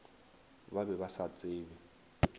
ba be ba sa tsebe